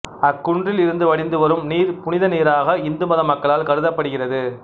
அக்குன்றில் இருந்து வடிந்துவரும் நீர் புனிதநீராக இந்துமத மக்களால் கருதப்படுகிறது